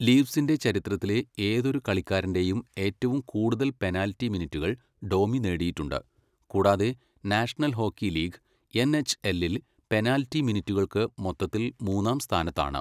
ലീഫ്സിന്റെ ചരിത്രത്തിലെ ഏതൊരു കളിക്കാരന്റെയും ഏറ്റവും കൂടുതൽ പെനാൽറ്റി മിനിറ്റുകൾ ഡോമി നേടിയിട്ടുണ്ട്, കൂടാതെ national hockey league N H എല്ലിൽ പെനാൽറ്റി മിനിറ്റുകൾക്ക് മൊത്തത്തിൽ മൂന്നാം സ്ഥാനത്താണ്.